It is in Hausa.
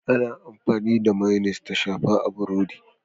Ana amfani da Mayonnaise ta shafa a burodi.